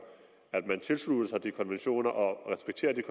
at man tilslutter sig de konventioner og respekterer de